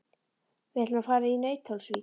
Við ætlum að fara í Nauthólsvík.